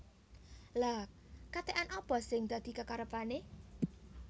Lha katekan apa sing dadi kekarepane